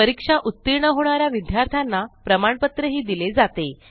परीक्षा उतीर्ण होणा या विद्यार्थ्यांना प्रमाणपत्रही दिले जाते